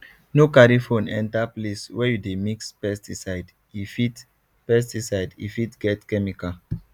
no carry phone enter place wey you dey mix pesticidee e fit pesticidee fit get chemical